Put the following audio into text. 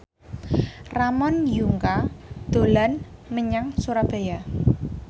Ramon Yungka dolan menyang Surabaya